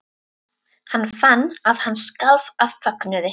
Hann fann að hann skalf af fögnuði.